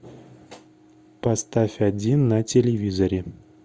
поставь один на телевизоре